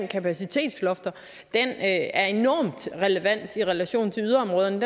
kapacitetslofter er enormt relevant i relation til yderområderne